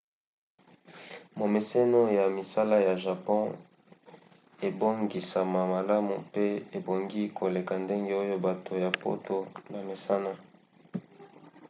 momeseno ya misala ya japon ebongisama malamu mpe ebongi koleka ndenge oyo bato ya poto bamesana